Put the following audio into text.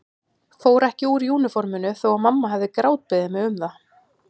Fór ekki úr úniforminu þó að mamma hefði grátbeðið mig um það.